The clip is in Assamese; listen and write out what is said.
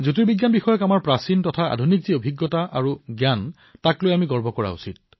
জ্যোতিৰ্বিজ্ঞানক লৈ আমাৰ প্ৰাচীন জ্ঞানেই হওক অথবা আধুনিক উপলব্ধিয়েই হওক ইয়াক লৈ গৌৰৱ কৰিব লাগে